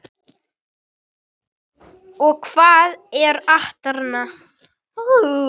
Og hvað er atarna?